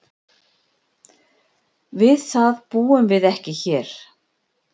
Við það búum við ekki hér.